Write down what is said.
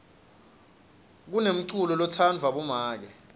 kunenculo lotsandvwa bomake